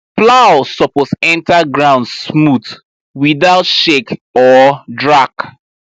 plow suppose enter ground smooth without shake or drag